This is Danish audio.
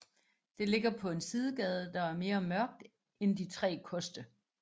Det ligger på en sidegade der er mere mørkt end De Tre Koste